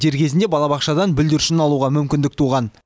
дер кезінде балабақшадан бүлдіршінін алуға мүмкіндік туған